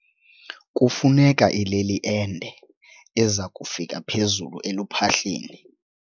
Kufuneka ileli ende eza kufika phezulu eluphahleni.